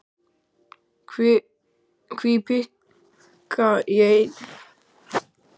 Hví pikka í einstök lönd, og þá vinaþjóðir okkar.